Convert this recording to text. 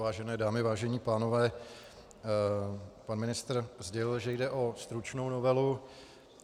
Vážené dámy, vážení pánové, pan ministr sdělil, že jde o stručnou novelu.